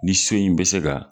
Ni so in be se ka